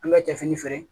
An ka cɛ fini feere